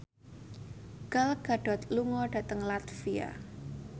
Gal Gadot lunga dhateng latvia